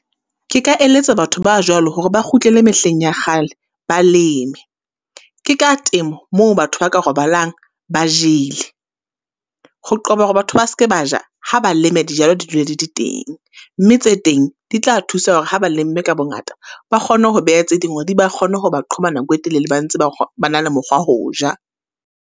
Ke ka eletsa batho ba jwalo, hore ba kgutlele mehleng ya kgale, ba leme. Ke ka temo, moo batho ba ka robalang ba jele, ho qoba hore batho ba se ke ba ja, ha ba leme dijalo di dule di di teng. Mme tse teng, di tla thusa hore ha ba lemme ka bongata, ba kgone ho beha tse ding hore di ba kgone ho ba qhoba nako e telele ba ntse ba ba na le mokgwa ho ja.